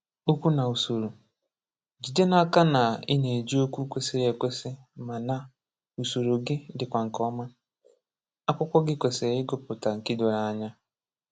Okwu na Usoro: Jide n’aka na ị na-eji okwu kwésịrị ekwesi ma na usoro gị dịkwa nke ọma. Akwụkwọ gị kwésịrị ịgụpụta nke doro anya.